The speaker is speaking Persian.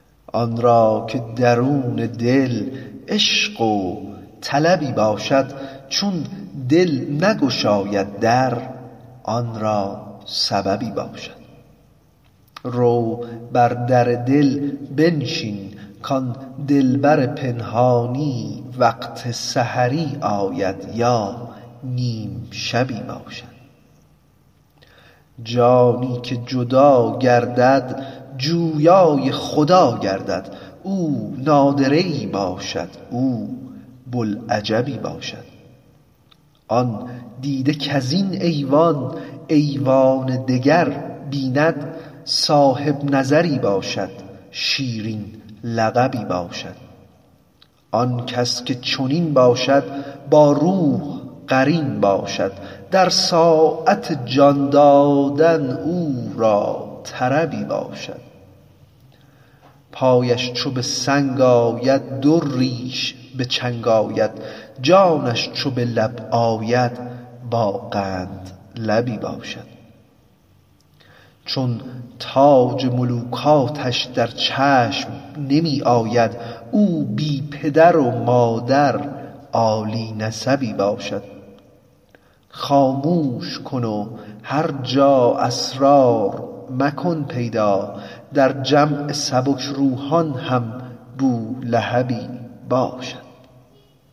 آن را که درون دل عشق و طلبی باشد چون دل نگشاید در آن را سببی باشد رو بر در دل بنشین کان دلبر پنهانی وقت سحری آید یا نیم شبی باشد جانی که جدا گردد جویای خدا گردد او نادره ای باشد او بوالعجبی باشد آن دیده کز این ایوان ایوان دگر بیند صاحب نظری باشد شیرین لقبی باشد آن کس که چنین باشد با روح قرین باشد در ساعت جان دادن او را طربی باشد پایش چو به سنگ آید دریش به چنگ آید جانش چو به لب آید با قندلبی باشد چون تاج ملوکانش در چشم نمی آید او بی پدر و مادر عالی نسبی باشد خاموش کن و هر جا اسرار مکن پیدا در جمع سبک روحان هم بولهبی باشد